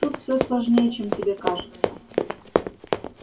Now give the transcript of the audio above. тут всё сложнее чем тебе кажется